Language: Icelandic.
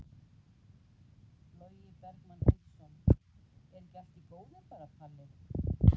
Logi Bergmann Eiðsson: Er ekki allt í góðu bara Palli?